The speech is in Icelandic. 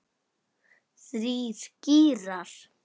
Þrír gírar.